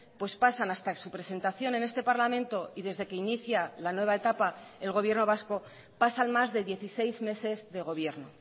pues pasan hasta su presentación en este parlamento y desde que inicia la nueva etapa el gobierno vasco pasan más de dieciséis meses de gobierno